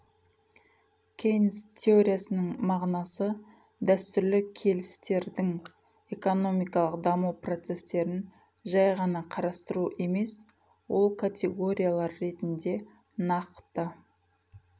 кейнс теориясының мағынасы дәстүрлі келістердің экономикалық даму процестерін жай ғана қарастыру емес ол категориялар ретінде нақты